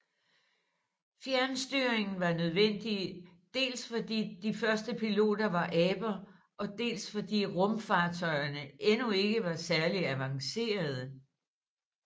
Fjernstyringen var nødvendig dels fordi de første piloter var aber og dels fordi rumfartøjerne endnu ikke var særlig avancerede